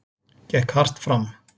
Gekk hart fram.